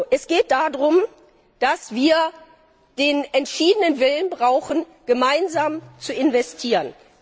Es geht darum, dass wir den entschiedenen Willen brauchen, gemeinsam zu investieren.